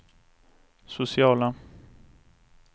sociala